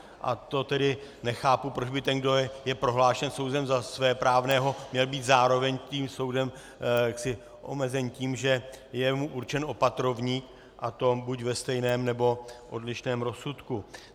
A to tedy nechápu, proč by ten, kdo je prohlášen soudem za svéprávného, měl být zároveň tím soudem omezen tím, že je mu určen opatrovník, a to buď ve stejném, nebo odlišném rozsudku.